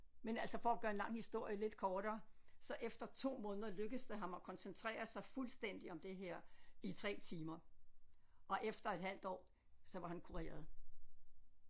Men altså for at gøre en lang historie lidt kortere så efter 2 måneder lykkedes det ham at koncentrere sig fuldstændig om det her i 3 timer og efter et halvt år så var han kureret